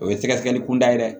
O ye sɛgɛsɛgɛli kunda ye dɛ